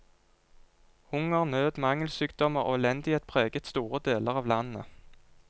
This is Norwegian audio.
Hunger, nød, mangelsykdommer og elendighet preget store deler av landet.